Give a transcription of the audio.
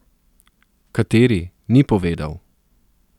Kateri, ni povedal.